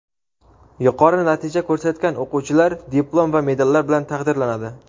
Yuqori natija ko‘rsatgan o‘quvchilar diplom va medallar bilan taqdirlanadi.